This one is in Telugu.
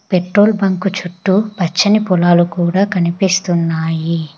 పెట్రోల్ బంకు చుట్టూ పచ్చని పొలాలు కూడా కనిపిస్తున్నాయి.